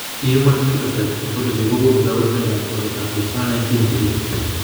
Human Phenotype Ontology kokonu kabarunoikab koriotoab Dystonia 19 cherube.